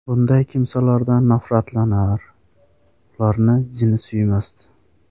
Bunday kimsalardan nafratlanar, ularni jini suymasdi.